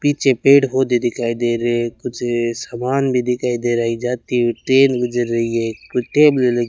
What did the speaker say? पीछे पेड़ पौधे दिखाई दे रे है कुछ सामान भी दिखाई दे रहा है जाती हुई ट्रेन गुजर रही है कु टेबले ल --